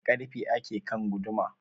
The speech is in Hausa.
Da karfe ake kan guduma